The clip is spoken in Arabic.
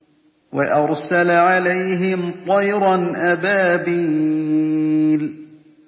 وَأَرْسَلَ عَلَيْهِمْ طَيْرًا أَبَابِيلَ